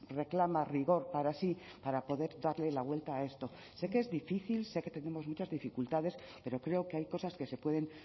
reclama rigor para sí para poder darle la vuelta a esto sé que es difícil sé que tenemos muchas dificultades pero creo que hay cosas que se pueden